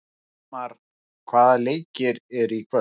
Eldmar, hvaða leikir eru í kvöld?